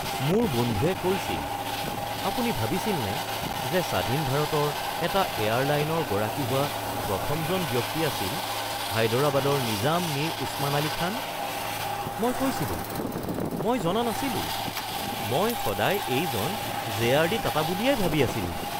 মোৰ বন্ধুৱে কৈছিল, 'আপুনি ভাবিছিলনে যে স্বাধীন ভাৰতৰ এটা এয়াৰলাইনৰ গৰাকী হোৱা প্ৰথমজন ব্যক্তি আছিল হায়দৰাবাদৰ নিজাম মিৰ ওছমান আলী খান?'। মই কৈছিলোঁ, "মই জনা নাছিলোঁ। মই সদায় এইজন জে.আৰ.ডি. টাটা বুলিয়েই ভাবি আছিলোঁ"।